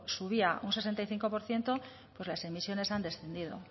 subía un sesenta y cinco por ciento pues las emisiones han descendido